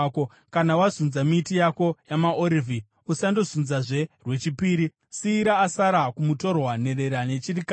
Kana wazunza miti yako yamaorivhi, usandozunzazve rwechipiri. Siyira asara kumutorwa, nherera nechirikadzi.